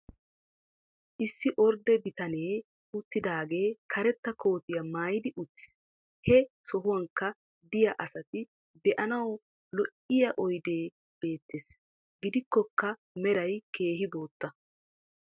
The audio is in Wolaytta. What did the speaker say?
issi ordde bitanee uttidaagee karetta koottiya maayidi uttiis. he sohuwankka diya asati be'anawu lo'iya oydee beetees. gidikkokka meray keehi bootta.